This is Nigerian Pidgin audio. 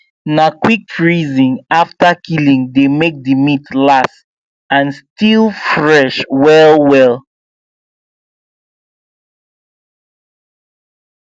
na quick freezing after killing dey make the meat last and still fresh well well